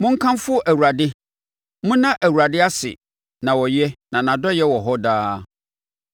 Monkamfo Awurade! Monna Awurade ase na ɔyɛ; na nʼadɔeɛ wɔ hɔ daa.